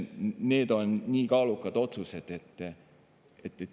Need on väga kaalukad otsused.